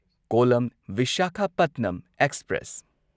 Kollam Visakhapatnam express